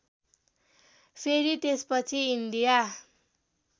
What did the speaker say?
फेरि त्यसपछि इन्डिया